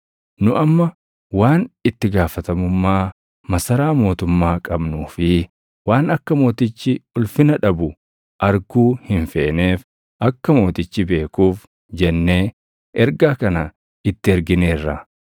Nu amma waan itti gaafatamummaa masaraa mootummaa qabnuu fi waan akka mootichi ulfina dhabu arguu hin feeneef akka mootichi beekuuf jennee ergaa kana itti ergineerra;